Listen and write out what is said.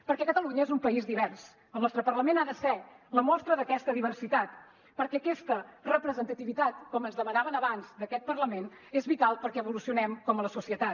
perquè catalunya és un país divers el nostre parlament ha de ser la mostra d’aquesta diversitat perquè aquesta representativitat com ens demanaven abans d’aquest parlament és vital perquè evolucionem com a societat